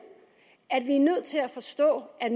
at vi er nødt til at forstå at i